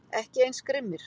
Ekki eins grimmir